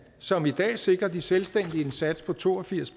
som i dag sikrer de selvstændige en sats på to og firs